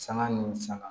Sanga ni sanga